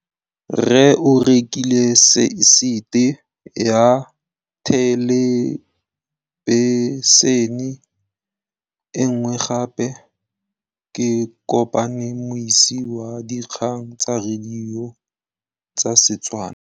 Rre o rekile sete ya thêlêbišênê e nngwe gape. Ke kopane mmuisi w dikgang tsa radio tsa Setswana.